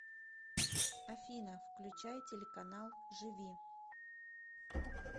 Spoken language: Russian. афина включай телеканал живи